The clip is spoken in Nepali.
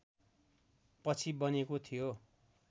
पछि बनेको थियो